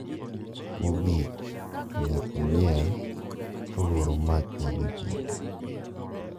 Mogik to nyako miel ka luoro mach nyadibiriyo.